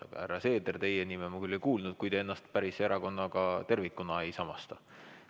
Aga härra Seeder, teie nime ma küll ei kuulnud, kui te ennast päris erakonnaga tervikuna ei samasta.